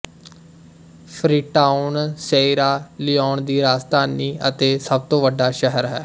Freetown Sierra Leone ਦੀ ਰਾਜਧਾਨੀ ਅਤੇ ਸਭ ਤੋਂ ਵੱਡਾ ਸ਼ਹਿਰ ਹੈ